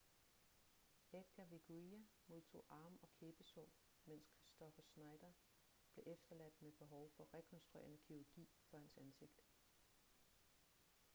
edgar veguilla modtog arm- og kæbesår mens kristoffer schneider blev efterladt med behov for rekonstruerende kirurgi for hans ansigt